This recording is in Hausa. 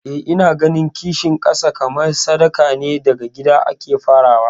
Eh ina ganin kishin kasa kamar sadaka ne, daga gida ake farawa.